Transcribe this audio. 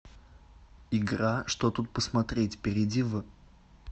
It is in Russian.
игра что тут посмотреть перейди в